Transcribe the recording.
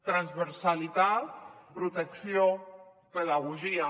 transversalitat protecció pedagogia